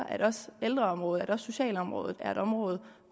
at også ældreområdet at også socialområdet er et område